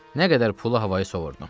Nə qədər pulu havayı sovurdum.